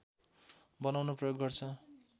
बनाउन प्रयोग गर्छ